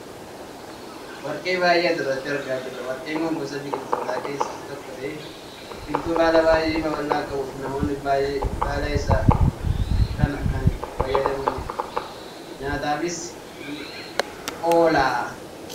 Warqee bay'ee asirratti argaa jira, warqeen kun gosa biqiltootaa keessaa isa tokko ta'ee biqiltuu baala bay'ee baballaa qabuu fi namoonni bay'ee baala isaa kana kan itti fayyadamnidha. Nyaataafis ni oola.